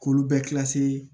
K'olu bɛɛ